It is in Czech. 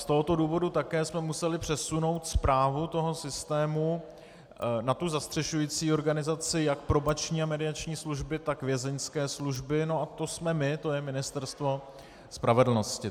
Z tohoto důvodu také jsme museli přesunout správu toho systému na tu zastřešující organizaci jak Probační a mediační služby, tak Vězeňské služby, no a to jsme my, to je Ministerstvo spravedlnosti.